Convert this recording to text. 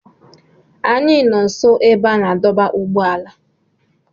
Anyị nọ nso ebe a na-adọba ụgbọala.